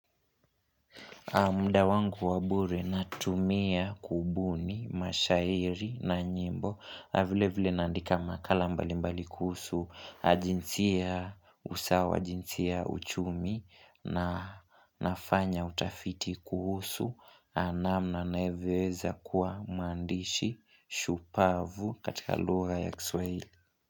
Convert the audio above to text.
Muda wangu wa bure natumia kubuni, mashairi na nyimbo. Vile vile naandika makala mbali mbali kuhusu jinsia usawa, jinsia uchumi na nafanya utafiti kuhusu namna navyoeza kuwa mwandishi shupavu katika lugha ya kiswaili.